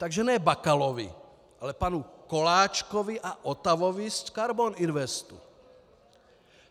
Takže ne Bakalovi, ale panu Koláčkovi a Otavovi z Karbon Investu!